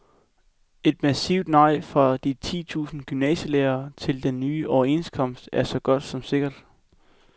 Et massivt nej fra de ti tusind gymnasielærere til den nye overenskomst er så godt som sikkert.